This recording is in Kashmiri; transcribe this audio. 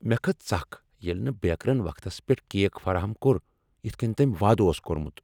مےٚ کھژ ژکھ ییٚلہ نہٕ بیکرن وقتس پیٹھ کیک فراہم کوٚر یتھ کٔنۍ تٔمۍ وعدٕ اوس کوٚرمت۔